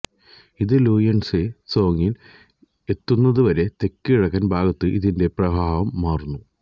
ഇത് ലുയൻറ്സെ സോങിൽ എത്തുന്നതുവരെ തെക്ക്കിഴക്ക് ഭാഗത്തേക്ക് ഇതിന്റെ പ്രവാഹം മാറുന്നു